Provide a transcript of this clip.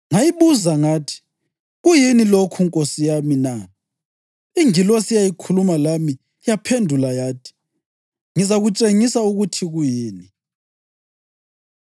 Ngayibuza ngathi, “Kuyini lokhu, nkosi yami na?” Ingilosi eyayikhuluma lami yaphendula yathi, “Ngizakutshengisa ukuthi kuyini.”